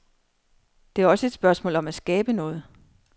Det er også et spørgsmål om at skabe noget.